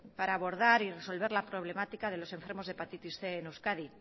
para abordar y resolver la problemática de los enfermos de hepatitis cien en euskadi